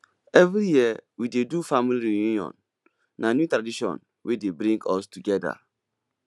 every year we dey do family reunion na new tradition wey dey bring us togeda